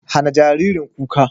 Hana jaririn kuka.